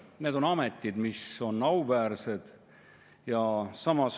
Need on ametid, mis on auväärsed.